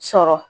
Sɔrɔ